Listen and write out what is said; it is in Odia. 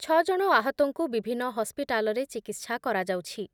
ଛ ଜଣ ଆହତଙ୍କୁ ବିଭିନ୍ନ ହସ୍ପିଟାଲରେ ଚିକିତ୍ସା କରାଯାଉଛି ।